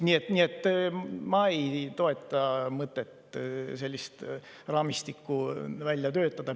Nii et ma ei toeta mõtet, et selline raamistik oleks vaja välja töötada.